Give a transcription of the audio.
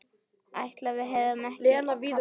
Ætli við hefðum ekki kafnað?